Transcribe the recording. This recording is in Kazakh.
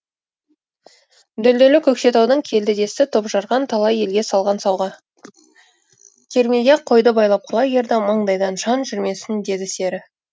дүлдүлі көкшетаудың келді десті топ жарған талай елге салған сауға кермеге қойды байлап құлагерді маңайдан жан жүрмесін деді сері